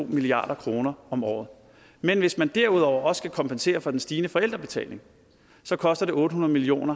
milliard kroner om året men hvis man derudover skal kompensere for den stigende forældrebetaling så koster det otte hundrede million